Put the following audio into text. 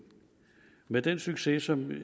med den succes som